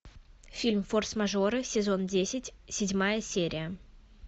фильм форс мажоры сезон десять седьмая серия